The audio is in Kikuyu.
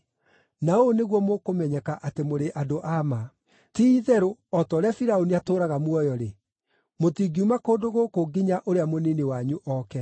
Na ũũ nĩguo mũkũmenyeka atĩ mũrĩ andũ a ma: Ti-itherũ, o ta ũrĩa Firaũni atũũraga muoyo-rĩ, mũtingiuma kũndũ gũkũ nginya ũrĩa mũnini wanyu oke.